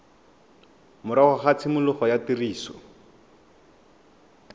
morago ga tshimologo ya tiriso